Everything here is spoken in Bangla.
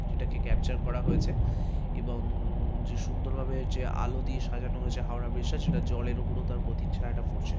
সেটাকে ক্যাপচার করা হয়েছে এবং যে সুন্দরভাবে যে আলো দিয়ে সাজানো হয়েছে হাওড়া ব্রিজটা সেটা জলের উপরতম তার প্রতিচ্ছায়াটা পড়ছে ।